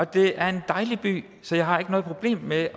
det er en dejlig by så jeg har ikke noget problem med